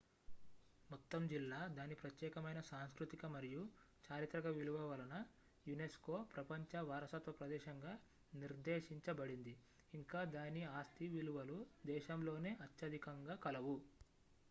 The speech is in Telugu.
మొత్తం జిల్లా దాని ప్రత్యేకమైన సాంస్కృతిక మరియు చారిత్రక విలువ వలన unesco ప్రపంచ వారసత్వ ప్రదేశంగా నిర్దేశించబడింది ఇంకా దాని ఆస్తి విలువలు దేశంలోనే అత్యధికంగా కలవు